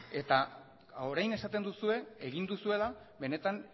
eta orain esaten duzue egin duzuela benetan